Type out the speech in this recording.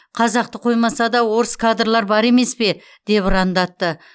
қазақты қоймаса да орыс кадрлар бар емес пе деп ұрандатты